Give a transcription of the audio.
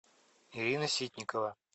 ирина ситникова